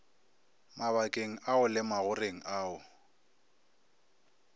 mabakeng ao le magoreng ao